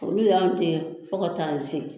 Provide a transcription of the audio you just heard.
Olu y'an dege fo ka t'an se